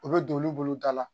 U bɛ don olu bolo da la